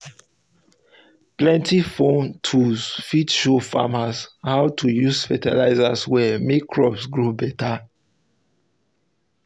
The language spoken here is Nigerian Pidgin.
plenty phone tools fit show farmers how to use fertilizer well make crops grow better.